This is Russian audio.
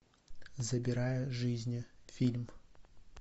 забирая жизни фильм